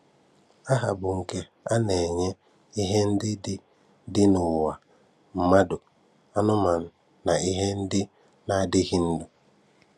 Aha bụ nke a na-enye ihe ndị dị dị n'ụwa; mmadụ, anụmanụ na ihe ndị na-adịghị ndụ